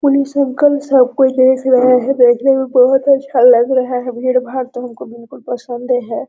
Police uncle सब कोई देख रहे है देखने में बहुत अच्छा लग रहा है भीड़-भाड़ तो हमको बिल्कुल पसंदे है ।